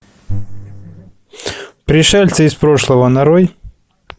пришельцы из прошлого нарой